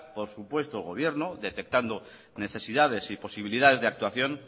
por supuesto el gobierno detectando necesidades y posibilidades de actuación